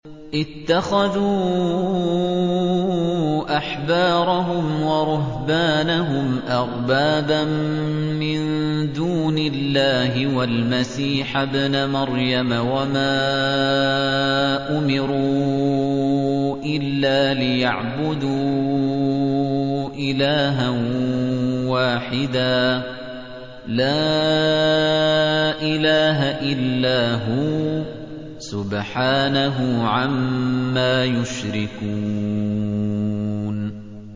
اتَّخَذُوا أَحْبَارَهُمْ وَرُهْبَانَهُمْ أَرْبَابًا مِّن دُونِ اللَّهِ وَالْمَسِيحَ ابْنَ مَرْيَمَ وَمَا أُمِرُوا إِلَّا لِيَعْبُدُوا إِلَٰهًا وَاحِدًا ۖ لَّا إِلَٰهَ إِلَّا هُوَ ۚ سُبْحَانَهُ عَمَّا يُشْرِكُونَ